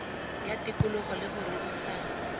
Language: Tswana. ya tikologo le go rerisana